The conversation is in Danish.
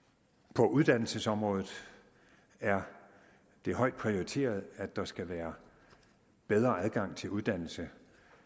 på uddannelsesområdet er det højt prioriteret at der skal være bedre adgang til uddannelse